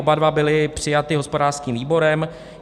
Oba dva byly přijaty hospodářským výborem.